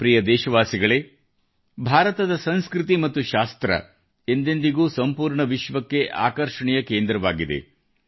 ನನ್ನ ಪ್ರಿಯ ದೇಶವಾಸಿಗಳೇ ಭಾರತದ ಸಂಸ್ಕೃತಿ ಮತ್ತು ಶಾಸ್ತ್ರ ಎಂದೆಂದಿಗೂ ಸಂಪೂರ್ಣ ವಿಶ್ವಕ್ಕೆ ಆಕರ್ಷಣೆಯ ಕೇಂದ್ರವಾಗಿದೆ